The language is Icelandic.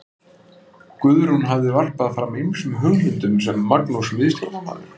Guðrún hafði varpað fram ýmsum hugmyndum sem Magnús miðstjórnarmaður